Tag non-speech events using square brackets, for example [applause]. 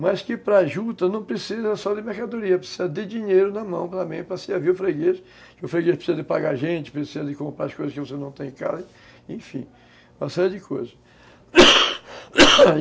Mas que para juta não precisa só de mercadoria, precisa de dinheiro na mão também, para servir o freguês, que o freguês precisa de pagar gente, precisa de comprar as coisas que você não tem em casa, enfim, uma série de coisas [coughs]